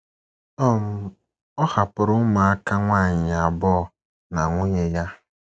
um Ọ hapụrụ ụmụaka nwanyị abụọ na nwunye ya.